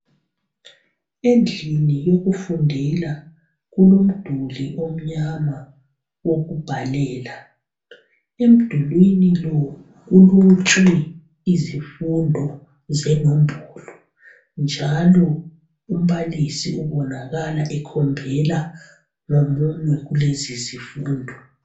Endlini yokufundela kulomduli omnyama okubhalela. Emdulwini lo kulotshwe izifundo zenombolo njalo umbalisi ubonakala ekhombela ngomunwe kulesi sifundo